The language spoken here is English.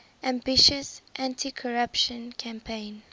ambitious anticorruption campaign